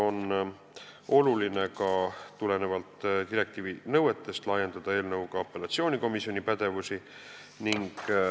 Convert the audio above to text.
Oluline on tulenevalt direktiivi nõuetest laiendada eelnõuga apellatsioonikomisjoni pädevust.